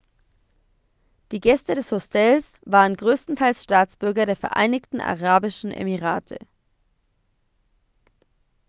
die gäste des hostels waren größtenteils staatsbürger der vereinigten arabischen emirate